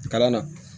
Kalan na